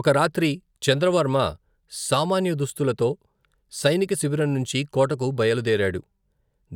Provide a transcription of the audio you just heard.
ఒక రాత్రి చంద్రవర్మ సామాన్య దుస్తులతో సైనిక శిబిరం నుంచి కోటకు బయలు దేరాడు.